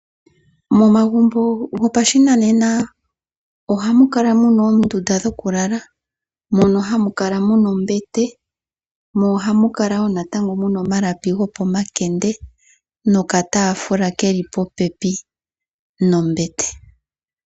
Momagumbo goshinanena ohamu kala muna oondunda dhoʻkùlala mono hamu kala ombete, omalapi gopomakende noshowo okataafula keli pooha dhombete.